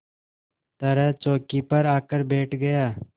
तरह चौकी पर आकर बैठ गया